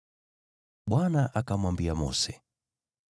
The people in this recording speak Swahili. Bwana akamwambia Mose,